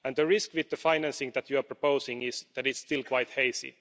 The risk with the financing that you are proposing is that it's still quite hazy.